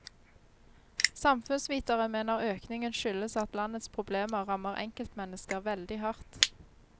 Samfunnsvitere mener økningen skyldes at landets problemer rammer enkeltmennesker veldig hardt.